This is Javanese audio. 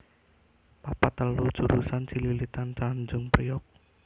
papat telu jurusan Cililitan Tanjung Priok